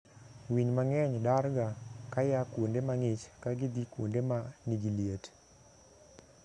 Winy mang'eny darga kaya kuonde mang'ich ka gidhii kuoende ma nigi liet.